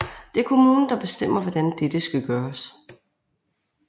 Det er kommunen der bestemmer hvordan dette skal gøres